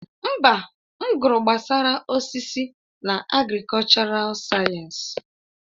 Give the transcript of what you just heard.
Mba, m gụrụ gbasara osisi na agrikọlchọral sayensị.